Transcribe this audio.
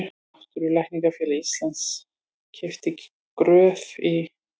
Náttúrulækningafélag Íslands keypti Gröf í